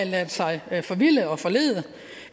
ladet sig forvilde og forlede